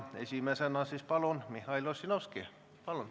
Esimesena palun, Mihhail Ossinovski.